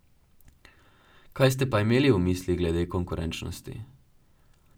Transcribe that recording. Kaj ste pa imeli v mislih glede konkurenčnosti?